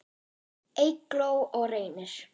Eygló og Reynir.